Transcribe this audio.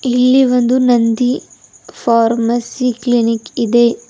ಇಲ್ಲಿ ಒಂದು Nandi pharmacy clinic ಇದೆ.